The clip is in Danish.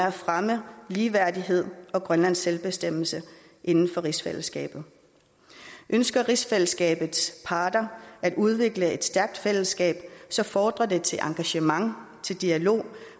at fremme ligeværdighed og grønlands selvbestemmelse inden for rigsfællesskabet ønsker rigsfællesskabets parter at udvikle et stærkt fællesskab fordrer det engagement dialog